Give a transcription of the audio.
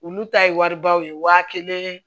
Olu ta ye waribaw ye waa kelen